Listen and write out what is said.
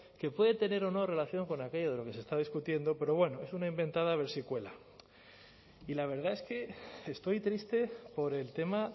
que puede tener o no relación con aquello de lo que se está discutiendo pero bueno es una inventada a ver si cuela y la verdad es que estoy triste por el tema